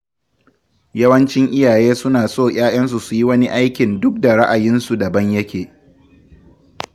Yawancin iyaye suna so ‘ya’yansu su yi wasu aikin duk da ra’ayinsu daban yake.